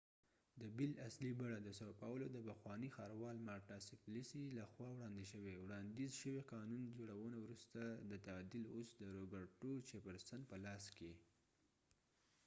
د بل اصلی بڼه د ساو پاولو sao paulo د پخوانی ښاروال مارټا سپلیسی marta suplicy له خوا وړاندي شوي.وړانديز شوي قانون جوړونه وروسته د تعديل اوس د روبرټو چېفر سن roberto jefforsonپه لاس کې ده